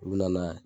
U bɛ na n'a ye